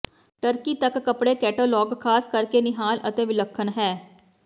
turkey ਤੱਕ ਕੱਪੜੇ catalogue ਖਾਸ ਕਰਕੇ ਨਿਹਾਲ ਅਤੇ ਵਿਲੱਖਣ ਹੈ